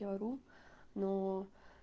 я ору но